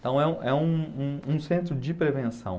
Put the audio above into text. Então é um é um um um centro de prevenção.